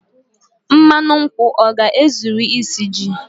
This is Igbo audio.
mmanụ nkwu ọ ga-ezuru isi ji?